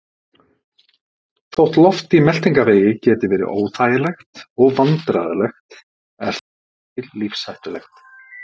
Þótt loft í meltingarvegi geti verið óþægilegt og vandræðalegt er það ekki lífshættulegt.